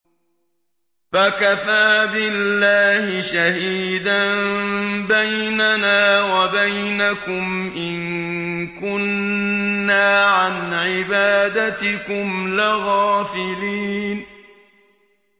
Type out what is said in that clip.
فَكَفَىٰ بِاللَّهِ شَهِيدًا بَيْنَنَا وَبَيْنَكُمْ إِن كُنَّا عَنْ عِبَادَتِكُمْ لَغَافِلِينَ